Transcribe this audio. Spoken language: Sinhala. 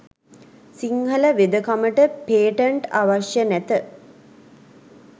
සිංහල වෙදකමට පේටන්ට් අවශ්‍ය නැත